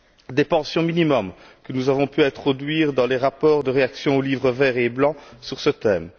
des pensions minimum, que nous avons pu introduire dans les rapports de réaction aux livres vert et blanc sur ce thème